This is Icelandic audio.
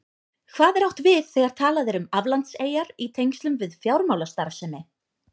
Hvað er átt við þegar talað er um aflandseyjar í tengslum við fjármálastarfsemi?